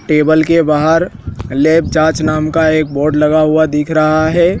Table के बाहर lab जांच नाम का एक बोर्ड लगा हुआ दिख रहा है।